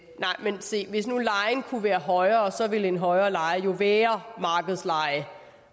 men se hvis nu lejen kunne være højere så ville en højere leje jo være markedslejen